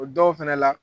O dɔw fɛnɛ la